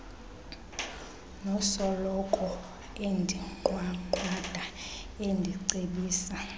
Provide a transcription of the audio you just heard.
nosoloko endinqwanqwada endicebisa